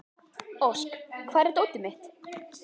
Ósk, hvar er dótið mitt?